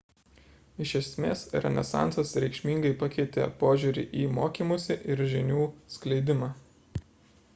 iš esmės renesansas reikšmingai pakeitė požiūrį į mokymąsi ir žinių skleidimą